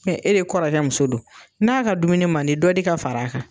Hɛ e de kɔrɔkɛ muso don, n'a ka dumuni man di dɔ di ka fara a kan.